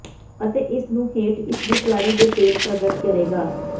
ਅਤੇ ਇਸ ਨੂੰ ਹੇਠ ਇਸ ਦੀ ਤਿਆਰੀ ਦੇ ਭੇਦ ਪ੍ਰਗਟ ਕਰੇਗਾ